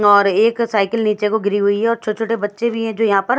और एक साइकिल नीचे को गिरी हुई है और छोटे छोटे बच्चे भी हैं जो यहाँ पर --